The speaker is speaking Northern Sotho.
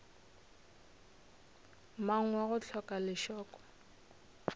mang wa go hloka lešoko